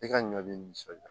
I ka ɲɔ bi nisɔndiya